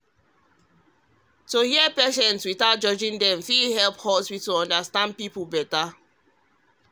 to hear patients without judging fit help hospital understand people better.